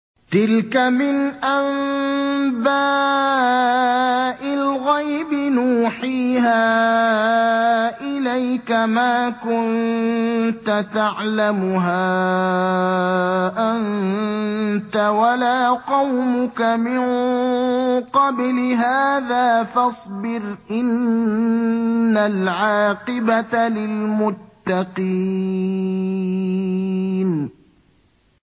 تِلْكَ مِنْ أَنبَاءِ الْغَيْبِ نُوحِيهَا إِلَيْكَ ۖ مَا كُنتَ تَعْلَمُهَا أَنتَ وَلَا قَوْمُكَ مِن قَبْلِ هَٰذَا ۖ فَاصْبِرْ ۖ إِنَّ الْعَاقِبَةَ لِلْمُتَّقِينَ